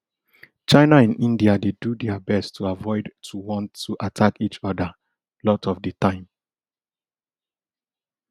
china and india dey do dia best to avoid to want to attack each oda lot of di time